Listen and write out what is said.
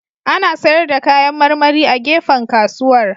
Ana sayar da kayan marmari a gefen kasuwar